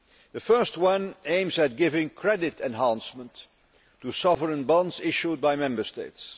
The first one aims at giving credit enhancement to sovereign bonds issued by Member States.